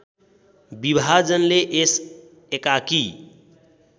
विभाजनले यस एकाकी